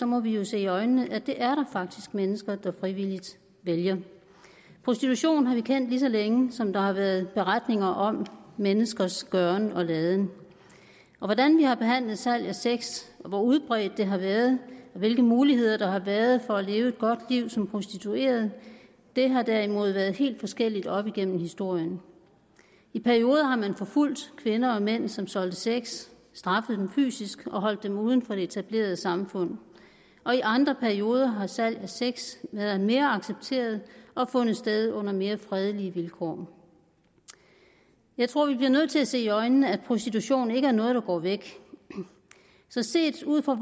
må vi jo se i øjnene at det er der faktisk mennesker der frivilligt vælger prostitution har vi kendt lige så længe som der har været beretninger om menneskers gøren og laden og hvordan vi har behandlet salg af sex og hvor udbredt det har været og hvilke muligheder der har været for at leve et godt liv som prostitueret har derimod været helt forskelligt op igennem historien i perioder har man forfulgt kvinder og mænd som solgte sex straffet dem fysisk og holdt dem uden for det etablerede samfund og i andre perioder har salg af sex været mere accepteret og fundet sted under mere fredelige vilkår jeg tror vi bliver nødt til at se i øjnene at prostitution ikke er noget der går væk så set ud fra